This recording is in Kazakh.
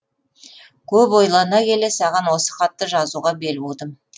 көп ойлана келе саған осы хатты жазуға бел будым